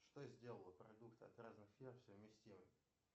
что сделало продукты от разных фирм совместимыми